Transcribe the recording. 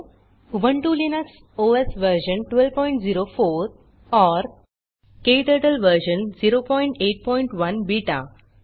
Ubuntu Linux OS version 1204 और KTurtle version 081 beta